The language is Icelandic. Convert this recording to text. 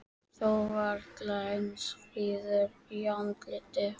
Þó varla eins fríður í andliti.